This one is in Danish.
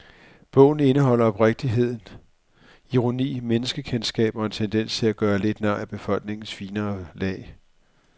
Bogen indeholder oprigtighed, ironi, menneskekendskab og en tendens til at gøre lidt nar af befolkningens finere lag.